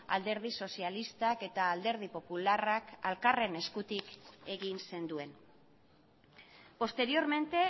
alderdi sozialistak eta alderdi popularrak elkarren eskutik egin zenduen posteriormente